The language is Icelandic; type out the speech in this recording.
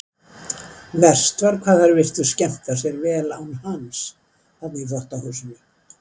Verst var hvað þær virtust skemmta sér vel án hans þarna í þvottahúsinu.